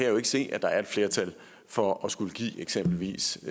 jo ikke se at der er et flertal for at skulle give eksempelvis